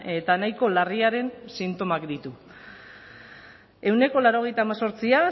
eta nahiko larriaren sintomak ditu ehuneko laurogeita hemezortzi